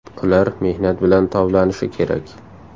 Ular mehnat bilan toblanishi kerak.